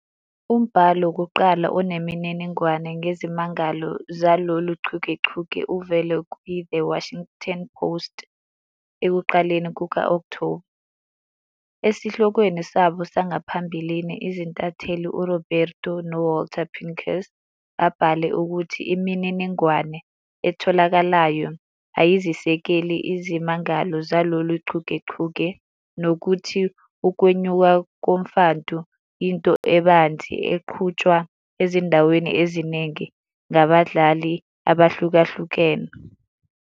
Umbhalo wokuqala onemininingwane ngezimangalo zalolu chungechunge uvele "kwiThe Washington Post" ekuqaleni kuka-Okthoba. Esihlokweni sabo sangaphambili, izintatheli uRoberto Suro noWalter Pincus babhale ukuthi "imininingwane etholakalayo" ayizisekeli izimangalo zalolu chungechunge nokuthi "ukwenyuka komfantu" "yinto ebanzi" eqhutshwa ezindaweni eziningi ngabadlali abahlukahlukene.